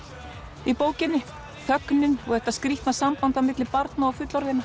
í bókinni þögnin og þetta skrýtna samband á milli barna og fullorðinna